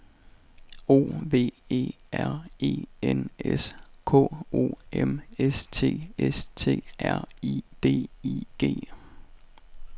O V E R E N S K O M S T S T R I D I G